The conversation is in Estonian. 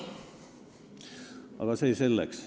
Aga see selleks.